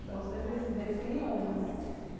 Então, você se define em uma.